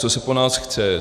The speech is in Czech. Co se po nás chce?